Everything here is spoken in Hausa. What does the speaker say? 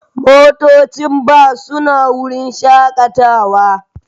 motocin bas suna cikin wurin shakatawa